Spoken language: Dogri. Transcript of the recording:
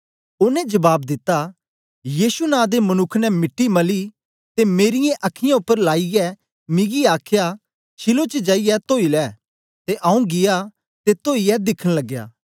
ओनें जबाब दिता यीशु नां दे मनुक्ख ने मिट्टी मली ते मेरी अखीयाँ उपर लाईयै मिगी आखया शीलोह च जाईयै तोई लै ते आऊँ गीया ते तोईयै दिखन लगया